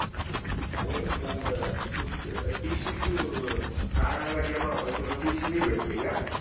अरे तुला ग तू ते TC तू काढायला गेला होता तुला TC नाही भेटली का?